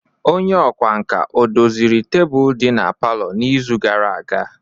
Onye ọkwá nkà odoziri tebụl di na palọ n'izu gara aga?